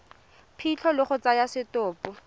phitlho le go tsaya setopo